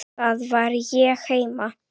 Þar var ég heima.